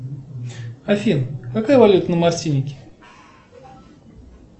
афин какая валюта на мартинике